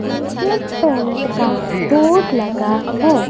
Asian paint का board लगा है।